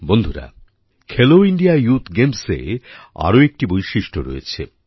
বন্ধুরা Khelo India youth গেমসএর আরও একটি বৈশিষ্ট রয়েছে